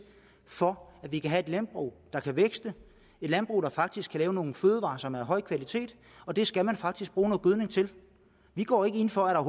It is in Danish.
for at vi kan have et landbrug der kan vækste et landbrug der faktisk kan lave nogle fødevarer som er af høj kvalitet og det skal man faktisk bruge noget gødning til vi går ikke ind for at